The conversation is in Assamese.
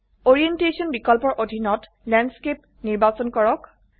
ওৰিয়েন্টেশন বিকল্পৰ অধীনত ল্যান্ডস্কেপ নিৰ্বাচন কৰক